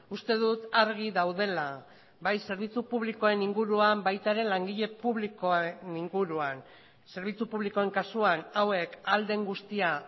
uste dut argi daudela bai zerbitzu publikoen inguruan baita ere langile publikoen inguruan zerbitzu publikoen kasuan hauek ahal den guztia